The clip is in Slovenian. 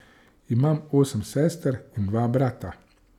Imam osem sester in dva brata.